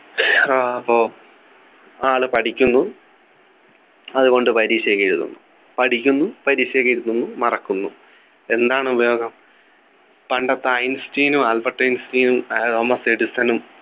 ആഹ് അപ്പൊ ആള് പഠിക്കുന്നു അതുകൊണ്ട് പരീക്ഷയൊക്കെ എഴുതുന്നു പഠിക്കുന്നു പരീക്ഷയൊക്കെ എഴുതുന്നു മറക്കുന്നു എന്താണുപയോഗം പണ്ടത്തെ ഐൻസ്റ്റീനും ആൽബർട്ട് ഐൻസ്റ്റീനും ഏർ തോമസ് എഡിസണും